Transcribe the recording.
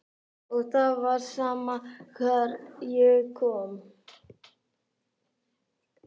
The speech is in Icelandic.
Og það var sama hvar ég kom.